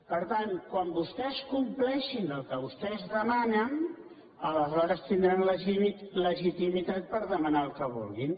per tant quan vostès compleixin el que vostès demanen aleshores tindran legitimitat per de·manar el que vulguin